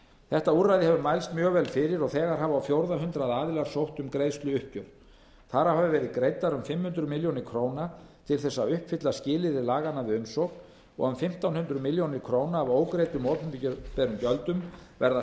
þetta úrræði hefur mælst mjög vel fyrir og þegar hafa á fjórða hundrað aðilar sótt um greiðsluuppgjör þar af hafa verið greiddar um fimm hundruð milljóna króna til þess að uppfylla skilyrði laganna við umsókn og um fimmtán hundruð milljóna króna af ógreiddum opinberum gjöldum verða